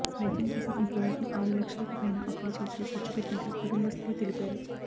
వైద్యం కోసం ఇప్పటి వరకు ఆరు లక్షలకు పైన అప్పులు చేసి ఖర్చుపెట్టినట్లు కుటుంబస్తులు తెలిపారు